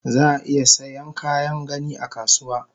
Zaa iya Saiyan Kayan gani akasuwa